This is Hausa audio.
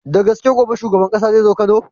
Da gaske gobe shuban ƙasa zai zo kano?